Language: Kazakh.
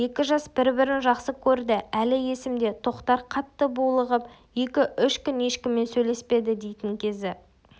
екі жас бір-бірін жақсы көрді әлі есімде тоқтар қатты булығып екі-үш күн ешкіммен сөйлеспеді дейтін кезі